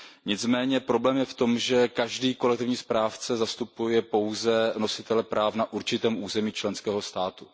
Nicméně problém je v tom, že každý kolektivní správce zastupuje pouze nositele práv na určitém území členského státu.